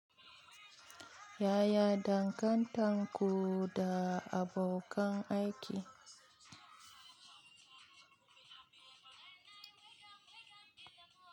Yaya dangantan ku da abokan aiki?